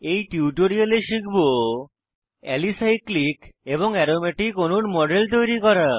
এই টিউটোরিয়ালে শিখব অ্যালিসাইক্লিক অ্যালিসাইক্লিক এবং অ্যারোমেটিক অ্যারোম্যাটিক অণুর মডেল তৈরী করা